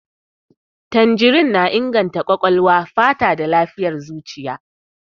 Tanjirin na inganta ƙwaƙwalwa, fata da lafiyar zuciya.